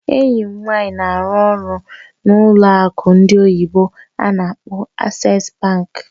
Enyi m nwanyị na-arụ ọrụ n'ụlọ akụ ndị oyibo n'akpọ Access bank